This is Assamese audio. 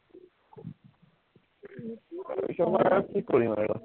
তাৰপিছৰপৰা আৰু কি কৰিম আৰু